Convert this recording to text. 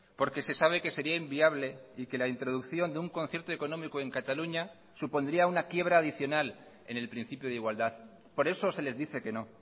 porque se sabe que sería inviable y que la introducción de un concierto económico en cataluña supondría una quiebra adicional en el principio de igualdad por eso se les dice que no